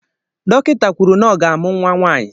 Dọkịta kwuru na ọ ga-amụ nwa nwanyị